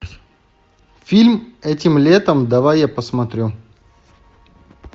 фильм этим летом давай я посмотрю